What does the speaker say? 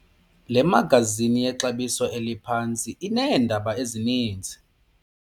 Le magazini yexabiso eliphantsi ineendaba ezininzi.